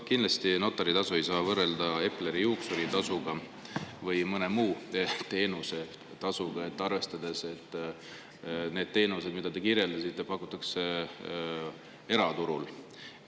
Kindlasti ei saa notaritasu võrrelda Epleri juuksuritasuga või mõne muu teenuse tasuga, arvestades, et neid teenuseid, mida te kirjeldasite, pakutakse eraturul.